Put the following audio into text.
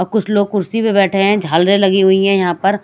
अ कुछ लोग कुर्सी पे बैठे हैं झालरें लगी हुई है यहां पर--